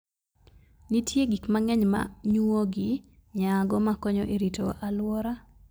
Nitie gik mang'eny ma nyuogi nyago ma konyo e rito alwora.